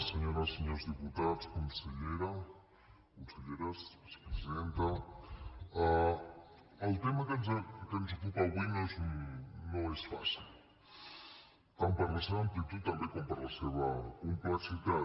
senyores senyors diputats conselleres vicepresidenta el tema que ens ocupa avui no és fàcil tant per la seva amplitud també com per la seva complexitat